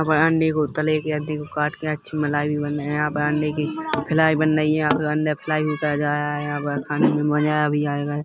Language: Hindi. वराडे को तले के अंडे को काट कर अच्छे मलाइ भी बने यहाँ पे अंडे की फ्लाई बन रही है यहाँ पर अंडा फ्लाई होकर अजया या पर खाने में मजा भी आयगा --